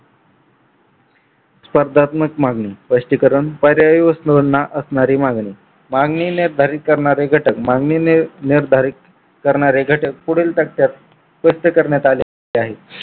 स्पर्धात्मक मागणी स्पष्टीकरण पर्याय वस्तुंना असलेली मागणी मागणीने निर्धारी करणारे घटक मागणीने निर्धारी करणारे घटक पुढील तथ्यात स्पष्ट करण्यात आले आहे.